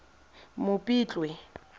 mopitlwe